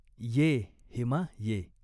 "ये, हेमा ये.